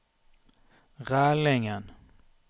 Rælingen